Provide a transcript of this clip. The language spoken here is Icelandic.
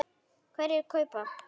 Hverjir kaupa?